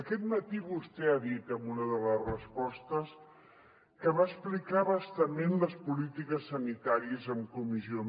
aquest matí vostè ha dit en una de les respostes que va explicar a bastament les polítiques sanitàries en comissió